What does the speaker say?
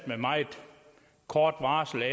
med meget kort varsel